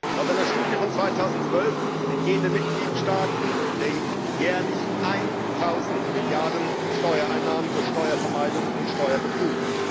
Laut einer Studie aus dem Jahr 2012 entgehen den Mitgliedstaaten der EU jährlich eintausend Milliarden Euro Steuereinnahmen durch Steuervermeidung und Steuerbetrug.